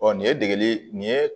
Ɔ nin ye degeli nin ye